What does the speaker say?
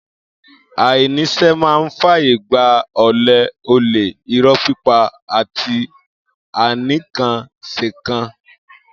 Ainísẹ mà ń fàyé gbà òlẹ, ọlẹ, ìró pípà àtí ànikànsẹkàn.